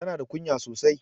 Tana da kunya sosai.